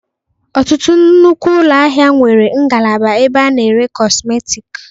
Ọtụtụ nnukwu ụlọ ahịa nwere ngalaba ebe ana-ere kọsmetik.